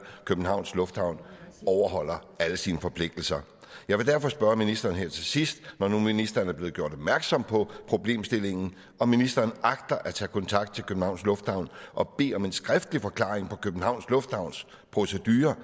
at københavns lufthavn overholder alle sine forpligtelser jeg vil derfor spørge ministeren her til sidst når nu ministeren er blevet gjort opmærksom på problemstillingen om ministeren agter at tage kontakt til københavns lufthavn og bede om en skriftlig forklaring på københavns lufthavns procedure